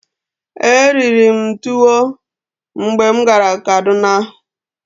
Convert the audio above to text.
Eriri m tuwo mgbe m gara Kaduna.